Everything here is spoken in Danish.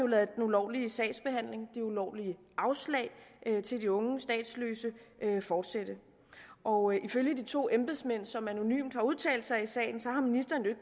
ladet den ulovlige sagsbehandling de ulovlige afslag til de unge statsløse fortsætte og ifølge de to embedsmand som anonymt har udtalt sig i sagen har ministeren jo